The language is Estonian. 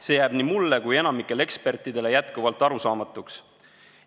See jääb nii mulle kui ka enamikule ekspertidest jätkuvalt arusaamatuks.